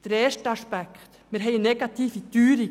Der erste Aspekt ist, dass wir eine negative Teuerung haben.